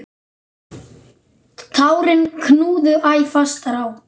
Tárin knúðu æ fastar á.